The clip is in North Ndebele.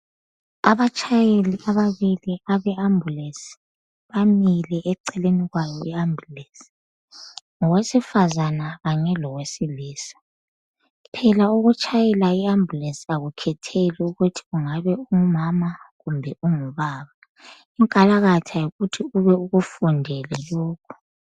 Abatshayeli ababili abe ambulance bamile eceleni kwayo iambulance. Ngowesifazana kanye lowe silisa phela ukutshayela ambulance akukhetheli ukuthi ungabe ungumama kube ubaba unkalakatha yikuthi ube ukufundele